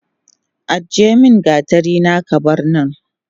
Ajiyemin gatarina kabarnan